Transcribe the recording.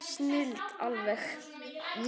Snilld alveg!